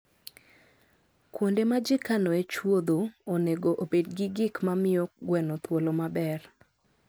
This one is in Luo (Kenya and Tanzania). Kuonde ma ji kanoe chuodho onego obed gi gik ma miyo gweno thuolo maber.